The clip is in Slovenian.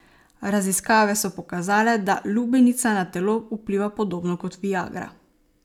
Raziskave so pokazale, da lubenica na telo vpliva podobno kot viagra.